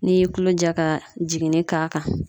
N'i y'i kulo ja ka jiginni k'a kan